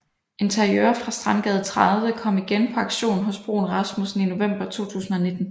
Interiør fra Strandgade 30 kom igen på auktion hos Bruun Rasmussen i november 2019